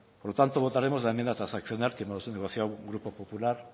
por tanto votaremos la enmienda transaccional que hemos negociado grupo popular